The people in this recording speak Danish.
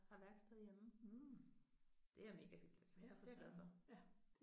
Har værksted hjemme. Det er mega hyggeligt så det er jeg glad for